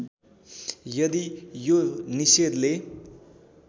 यदि यो निषेधले